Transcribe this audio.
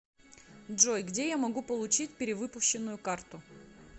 джой где я могу получить перевыпущенную карту